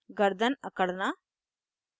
* गर्दन अकड़ना